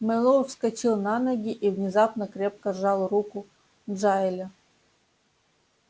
мэллоу вскочил на ноги и внезапно крепко сжал руку джаэля